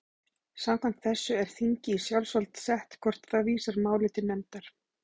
Samkvæmt þessu er þingi í sjálfsvald sett hvort það vísar máli til nefndar.